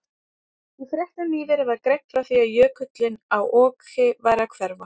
Í fréttum nýverið var greint frá því að jökullinn á Oki væri að hverfa.